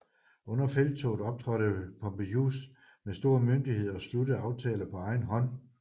Under felttoget optrådte Pompejus med stor myndighed og sluttede aftaler på egen hånd